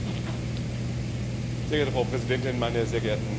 Frau Präsidentin, meine sehr geehrten Damen und Herren Kollegen!